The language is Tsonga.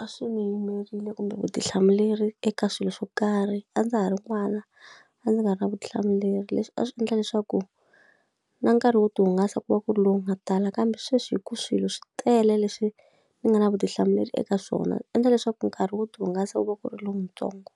a swi ni yimerile kumbe vutihlamuleri eka swilo swo karhi, a ndza ha ri n'wana, a ndzi nga ri na vutihlamuleri. Leswi a swi endla leswaku na nkarhi wo tihungasa ku va ku ri lowu nga tala. kambe sweswi hikuva swilo swi tele leswi ni nga na vutihlamuleri eka swona, swi endla leswaku nkarhi wo tihungasa ku va ku ri lowuntsongo.